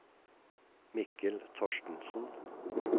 Mikkel Thorstensen